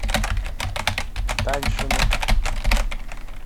даньшину